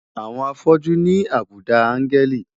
Àwọn afọ́jú ní àbùdá áńgẹ́lì.